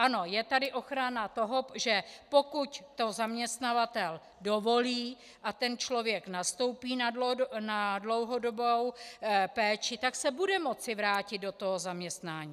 Ano, je tady ochrana toho, že pokud to zaměstnavatel dovolí a ten člověk nastoupí na dlouhodobou péči, tak se bude moci vrátit do toho zaměstnání.